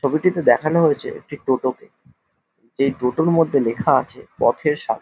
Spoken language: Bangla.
ছবিটিতে দেখানো হয়েছে একটি টোটোকে এই টোটোর মধ্যে লেখা আছে পথের সাথী।